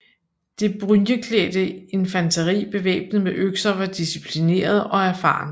Det brynjeklædte infanteri bevæbnet med økser var disciplineret og erfarent